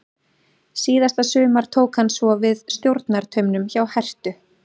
Síðasta sumar tók hann svo við stjórnartaumunum hjá Herthu.